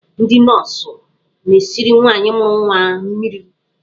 Ndị nọọsụ na-esiri nwaanyị mụrụ nwa mmiri.